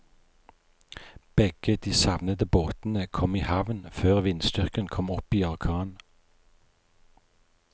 Begge de savnede båtene kom i havn før vindstyrken kom opp i orkan.